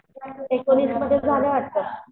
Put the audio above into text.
एकोणिसमध्ये झालं आताच